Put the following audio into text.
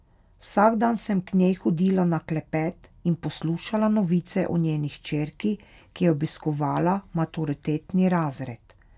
Vsak dan sem k njej hodila na klepet in poslušala novice o njeni hčerki, ki je obiskovala maturitetni razred.